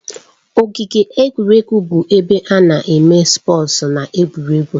Ogige egwuregwu bụ ebe ana eme spọọs na egwuregwu